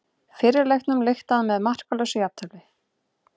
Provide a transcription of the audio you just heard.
Fyrri leiknum lyktaði með markalausu jafntefli